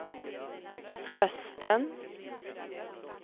rösten